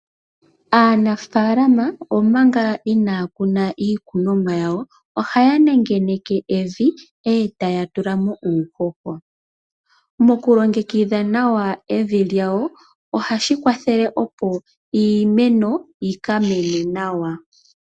Aanafaalama omanga inaa kuna iikunumwa yawo, ohaya nengeneke evi, e taya tula mo uuhoho. Mokulongekidha nawa evi lyawo, ohashi kwathele opo iimeno yi ka mene nawa.